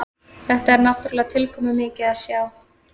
Þetta er náttúrulega tilkomumikið að sjá